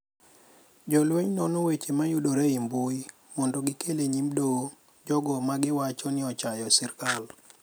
Jolweny nono weche mayudore e mbui mondo gikel e nyim Doho jogo ma giwacho ni ochayo sirkal.